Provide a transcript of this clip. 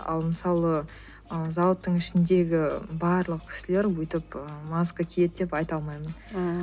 ал мысалы ы зауыттың ішіндегі барлық кісілер өйтіп ы маска киеді деп айта алмаймын ыыы